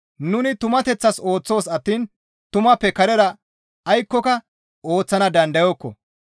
Nuni tumateththas ooththoos attiin tumappe karera aykkoka ooththana dandayokko.